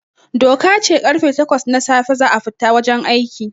Doka ce karfe takwas na safe za a fita wajen aiki